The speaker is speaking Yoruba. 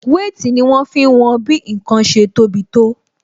Wéètì ni wọn fi ń wọn bí ǹkan ṣe tó bi tó